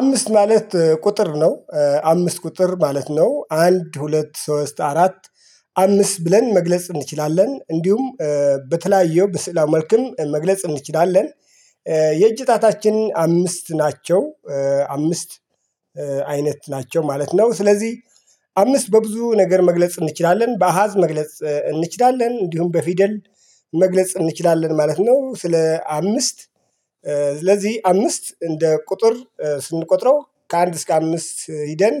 አምስት ማለት ቁጥር ነው አምስት ቁጥር ማለት ነው አንድ ሁለት ሶስት አራት። አምስት ብለን መግለጽ እንችላለን። እንዲሁም በተለያዩ በስዕል መልክም መግለጽ እንችላለን። የእጅ ጣታችን አምስት ናቸው። አምስት አይነት ናቸው ማለት ነው። ስለዚህ አምስት በብዙ ነገር መግለጽ እንችላለን በአሃዝ መግለጽ እንችላለን እንዲሁም በፊደል መግለጽ እንችላለን ማለት ነው። ስለ አምስት። ስለዚህ አምስት እንደ ቁጥር ስንቆጥረው ከአንድ እስከ አምስት ሂደን።